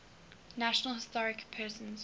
national historic persons